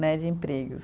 Né, de empregos.